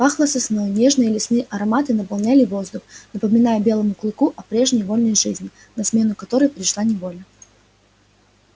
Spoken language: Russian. пахло сосной нежные лесные ароматы наполняли воздух напоминая белому клыку о прежней вольной жизни на смену которой пришла неволя